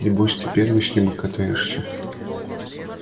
небось ты первый с ним и катаешься